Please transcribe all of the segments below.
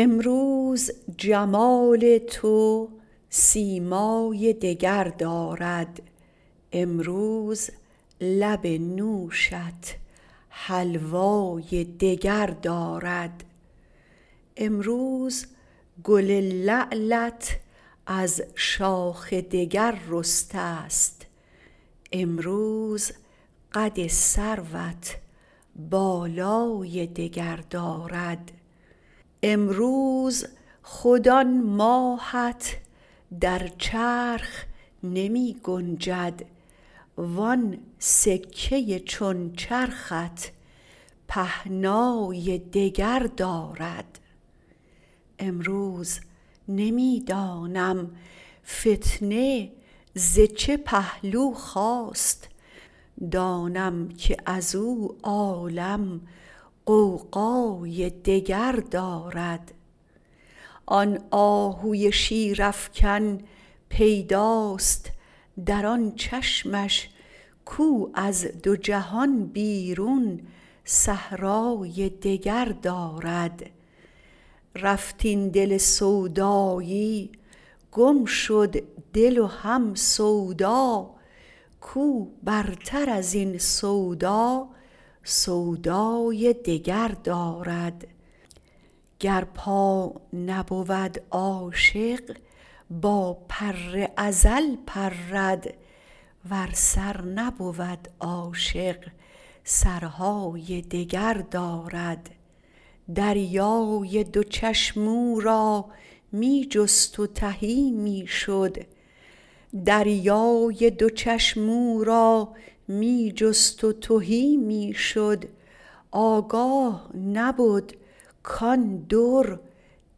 امروز جمال تو سیمای دگر دارد امروز لب نوشت حلوای دگر دارد امروز گل لعلت از شاخ دگر رسته ست امروز قد سروت بالای دگر دارد امروز خود آن ماهت در چرخ نمی گنجد وان سکه ی چون چرخت پهنای دگر دارد امروز نمی دانم فتنه ز چه پهلو خاست دانم که از او عالم غوغای دگر دارد آن آهو شیرافکن پیداست در آن چشمش کاو از دو جهان بیرون صحرای دگر دارد رفت این دل سودایی گم شد دل و هم سودا کاو برتر از این سودا سودای دگر دارد گر پا نبود عاشق با پر ازل پرد ور سر نبود عاشق سرهای دگر دارد دریای دو چشم او را می جست و تهی می شد آگاه نبد کان در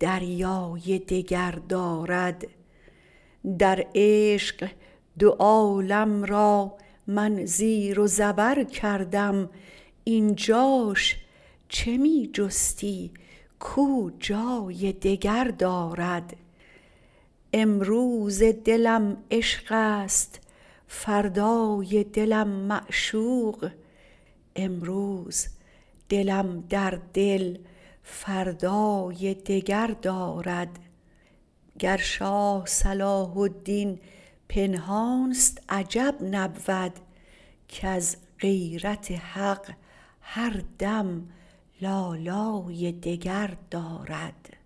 دریای دگر دارد در عشق دو عالم را من زیر و زبر کردم این جاش چه می جستی کاو جای دگر دارد امروز دلم عشقست فردای دلم معشوق امروز دلم در دل فردای دگر دارد گر شاه صلاح الدین پنهانست عجب نبود کز غیرت حق هر دم لالای دگر دارد